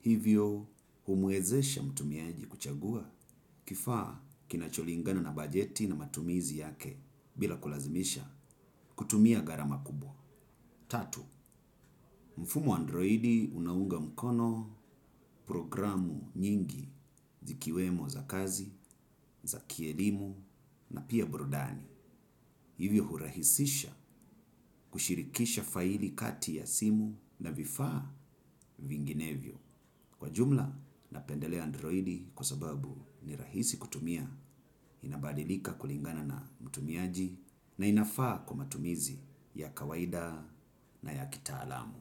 Hivyo humwezesha mtumiaji kuchagua kifaa kinacho lingana na bajeti na matumizi yake bila kulazimisha kutumia gharama kubwa. Tatu, mfumo wa Androidi unaunga mkono programu nyingi zikiwemo za kazi, za kielimu na pia burudani. Hivyo hurahisisha kushirikisha faili kati ya simu na vifaa vinginevyo. Kwa jumla, napendelea Androidi kwa sababu ni rahisi kutumia inabadilika kulingana na mtumiaji na inafaa kwa matumizi ya kawaida na ya kitaalamu.